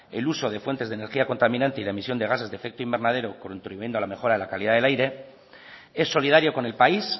el uso de fuentes de energía contaminante y la emisión de gases de efecto invernadero contribuyendo a la mejora del aire es solidario con el país